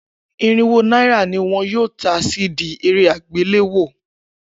Irinwó náírà ni wọn yóò ta CD eré àgbéléwò.